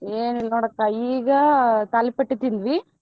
ಏನಿಲ್ಲ ನೋಡಕ್ಕ ಈಗ ತಾಲಿಪಟ್ಟಿ ತಿಂದ್ವಿ.